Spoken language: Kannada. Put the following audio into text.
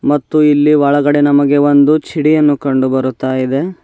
ಮತ್ತು ಇಲ್ಲಿ ಒಳಗಡೆ ನಮಗೆ ಒಂದು ಛಿಡಿಯನ್ನು ಕಂಡುಬರುತ್ತಾಯಿದೆ.